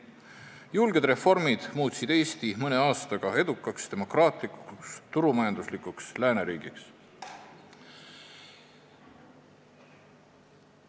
Julged reformid muutsid Eesti mõne aastaga edukaks, demokraatlikuks, turumajanduslikuks lääneriigiks.